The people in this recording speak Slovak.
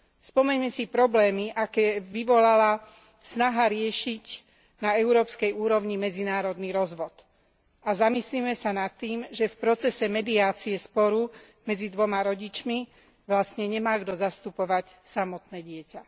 Spomeňme si problémy, aké vyvolala snaha riešiť na európskej úrovni medzinárodný rozvod, a zamyslime sa nad tým, že v procese mediácie sporu medzi dvoma rodičmi vlastne nemá kto zastupovať samotné dieťa.